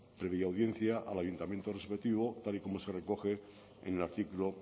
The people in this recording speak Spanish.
previa audiencia al ayuntamiento respectivo tal y como se recoge en el artículo